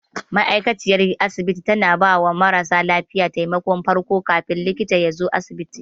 Ma'aikaciyar asibiti tana bawa mara lafiya taimakon farko kafin likita yazo asibiti.